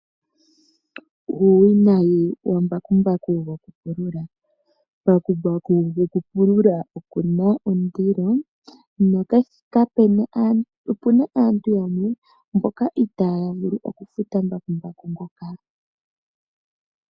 Uuwinayi wambakumbaku gokupulula. Mbakumbaku gokupulula okuna ondilo, opuna aantu yamwe mboka itaya vulu oku futa mbakumbaku ngoka.